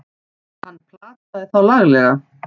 Hann plataði þá laglega!